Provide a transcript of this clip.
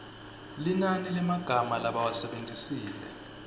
linani lemagama labawasebentisile